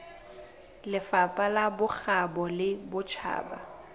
lefapha la bokgabo le botjhaba